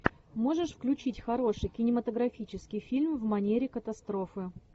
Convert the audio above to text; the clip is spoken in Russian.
можешь включить хороший кинематографический фильм в манере катастрофы